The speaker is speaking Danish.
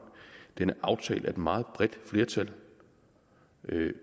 den er aftalt af et meget bredt flertal